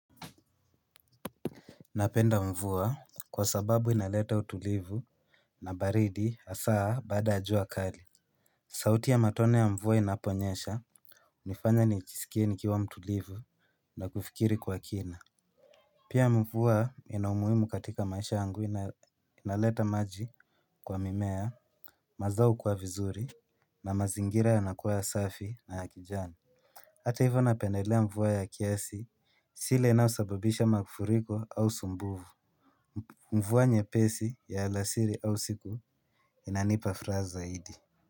Napenda mvua kwa sababu inaleta utulivu na baridi hasaa baada ya jua kali. Sauti ya matone ya mvua inaponyesha hunifanya nijisikie nikiwa mtulivu na kufikiri kwa kina. Pia mvua inaumuhimu katika maisha yangu inaleta maji kwa mimea mazao hukua vizuri na mazingira yanakuwa ya safi na ya kijani. Hata hivyo napendelea mvua ya kiasi si ile inayosababisha mafuriko au sumbufu. Mvua nyepesi ya alasiri au usiku inanipa furaha zaidi.